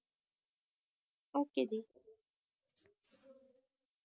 Okay ਜੀ